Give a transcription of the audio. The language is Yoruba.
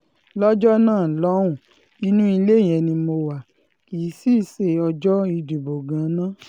lọ́jọ́ náà lọ́hùn-ún inú ilé yẹn ni mo wá kí i sì í ṣe ọjọ́ ìdìbò gan-an náà